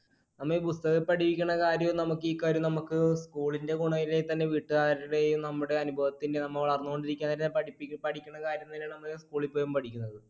നമ്മൾ ഈ പുസ്തകത്തിൽ പഠിക്കണ കാര്യവും നമുക്ക് ഈ കാര്യവും നമുക്ക് school വീട്ടുകാരുടെയും നമ്മുടെ അനുഭവത്തിന്റെയും നമ്മ വളർന്നു കൊണ്ടിരിക്കുന്ന പഠിക്കണ കാര്യം തന്നെയാണ് നമ്മൾ school ൽ പോയും പഠിക്കുന്നത്